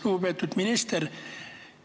Lugupeetud minister!